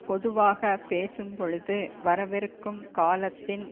பொதுவாக பேசும் பொழுது வரவிருக்கும் காலத்தின்